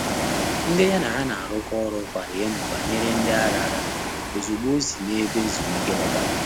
Ndị́ yá nà há nà-árụ́kọ́ ọ́rụ́ kwàrà èmó bànyèrè “ndị́ árárá” ózùgbó ọ́ sì n’ébé ézùmíké lọ́tà.